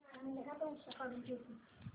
Everest इंड dividend pay किती आहे